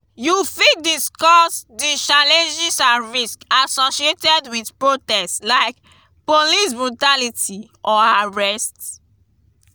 you fit discuss di challenges and risks associated with protest like police brutality or arrest.